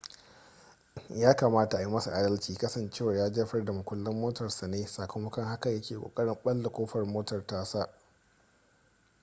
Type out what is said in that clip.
ya kamata a yi masa adalci kasancewar ya jefar da mukullan motarsa ne sakamakon haka ya ke kokarin balle kofar motar tasa